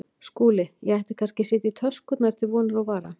SKÚLI: Ég ætti kannski að setja í töskurnar til vonar og vara.